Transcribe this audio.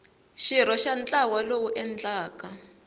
xirho xa ntlawa lowu endlaka